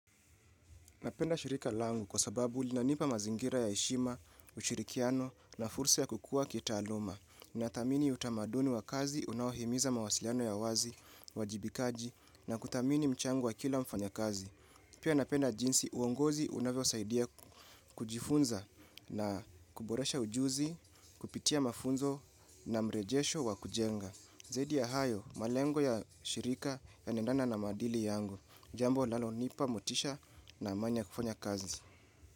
Napenda shirika langu kwa sababu linanipa mazingira ya heshima, ushirikiano na fursa ya kukua kitaaluma. Nathamini utamaduni wa kazi unaohimiza mawasiliano ya wazi, uwajibikaji na kuthamini mchango wa kila mfanya kazi. Pia napenda jinsi uongozi unavyosaidia kujifunza na kuboresha ujuzi, kupitia mafunzo na mrejesho wa kujenga. Zaidi ya hayo, malengo ya shirika yanaendana na maadili yangu. Jambo linalonipa motisha na amani ya kufanya kazi.